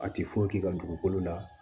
A ti foyi k'i ka dugukolo la